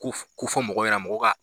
Ko fɔ mɔgɔw ɲɛna mɔgɔw ka